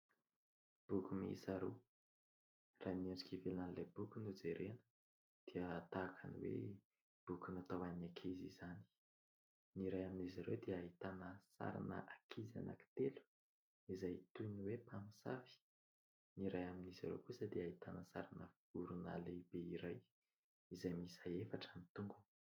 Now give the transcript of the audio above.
Boky miisa roa : raha ny endrika ivelanan'ilay boky no jerena dia tahaka ny hoe boky natao any ankizy izany, ny iray amin'izy ireo dia ahitana sarina ankizy anankitelo izay toy ny hoe mpamosavy ; ny iray amin'izy ireo kosa dia ahitana sarina vorona lehibe iray izay miisa efatra ny tongony.